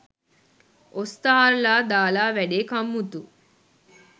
ඔස්තාර්ලා දාලා වැඩේ කම්මුතු